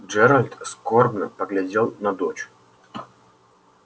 джералд скорбно поглядел на дочь